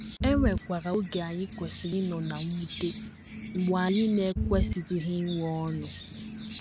E nwekwara oge anyị kwesịrị ịnọ ná mwute, mgbe anyị na - ekwesịtụghị inwe ọṅụ.